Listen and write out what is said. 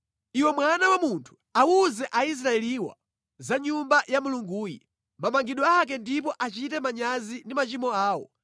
“Iwe mwana wa munthu, awuze Aisraeliwa za Nyumba ya Mulunguyi, mamangidwe ake ndipo achite manyazi ndi machimo awo,